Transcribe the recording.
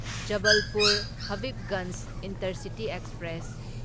Jabalpur Habibganj intercity express